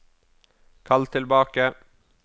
kall tilbake